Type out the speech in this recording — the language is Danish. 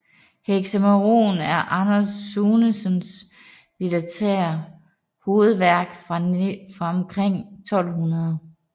Hexaëmeron er Anders Sunesens litterære hovedværk fra omkring 1200